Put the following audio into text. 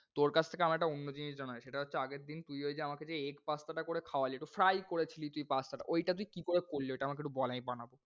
তোর কাছ থেকে আমার একটা অন্য জিনিস জানার আছে। সেটা হচ্ছে আগের দিন তুই ঐযে আমাকে যে egg pasta টা করে খাওয়ালি একটু fry করেছিলি তুই pasta টা। ওইটা তুই কি করে করলি? আমাকে একটু বল, আমি বানাবো।